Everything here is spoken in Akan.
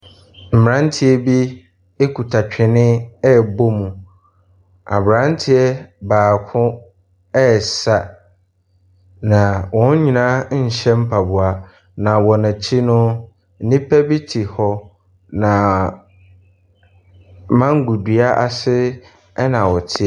Mmranteɛ bi ekuta twene rebɔ mu. Abranteɛ baako resa. Na wɔn nyinaa nhyɛ mpaboa. Na wɔn akyi no, nnipa bi te hɔ na mangodua ase ɛna wɔte.